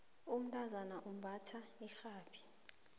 umntazana umbatha irhabi